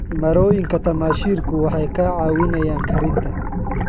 Marooyinka tamaashiirku waxay kaa caawinayaan karinta.